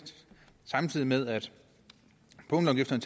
samtidig med at punktafgifterne